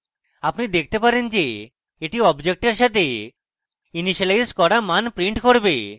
আপনি দেখতে পারেন যে এটি অবজেক্টের সাথে ইনিসিয়েলায়জ করা মান print করবে